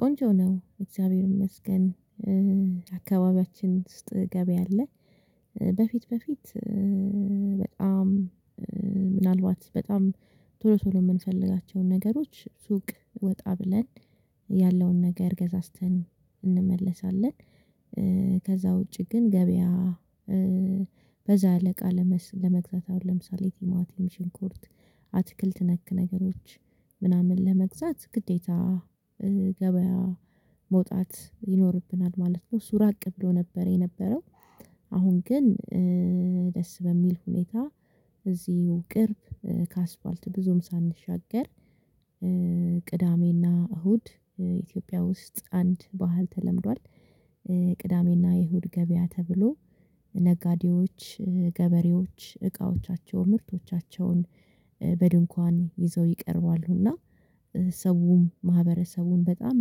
ቆንጆ ነው እግዚአብሔር ይመስገን። አካባቢያችን ውስጥ ገበያ አለ። በፊት በፊት በጣም ምናልባት በጣም ቶሎ ቶሎ የምንፈልጋቸውን ነገሮች ሱቅ ወጣ ብለን ያለውን ነገር ገዛዝተን እንመለሳለን። ከዛ ውጪ ግን ገበያ በዛ ያለእቃ ለመግዛት አሁን ለምሳሌ ቲማቲን ሽንኮርት አትክልት ነክ ነገሮች ምናምን ለመግዛት ግዴታ ገበያ መውጣት ይኖርብናል ማለት ነው። እሱ ራቅ ብሎ ነበር የነበረው አሁን ግን ደስ በሚል ሁኔታ እዚሁ ቅርብ ከአስፋልት ብዙም ሳንሻገር ቅዳሜና እሁድ ኢትዮጵያ ውስጥ አንድ ባህል ተለምዷል። ቅዳሜና የእሁድ ገበያ ተብሎ ነጋዴዎች ገበሬዎች እቃዎቻቸው ምርቶቻቸውን በድንኳን ይዘው ይቀርባሉና ሰውም ማህበረሰቡን በጣም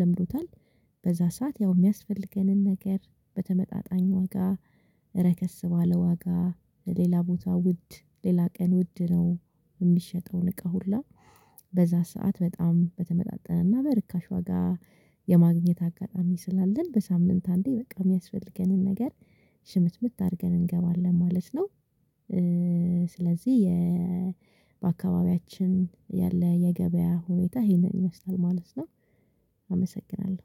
ለምዶታል። በዛ ሰዓት ያው የሚያስፈልገንን ነገር በተመጣጣኝ ዋጋ ረከስ ባለ ዋጋ ለሌላ ቦታ ውድ ሌላ ቀን ውድ ነው። የሚሸጠውን እቃ ሁላ በዛ ሰዓት በጣም በተመጣጣንና በርካሽ ዋጋ የማግኘት አጋጣሚ ስላለን በሳምንት አንዴ በቃ የሚያስፈልገንን ነገር ሽምትምት አድርገን እንገባለን ማለት ነው። ስለዚህ የ በአካባቢያችን ያለ የገበያ ሁኔታ ይሄንን ይመስላል ማለት ነው። አመሰግናለሁ